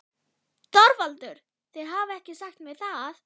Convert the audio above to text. ÞORVALDUR: Þér hafið ekki sagt mér það.